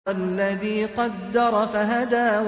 وَالَّذِي قَدَّرَ فَهَدَىٰ